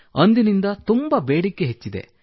ಅಂದಿನಿಂದ ತುಂಬಾ ಬೇಡಿಕೆ ಹೆಚ್ಚಿದೆ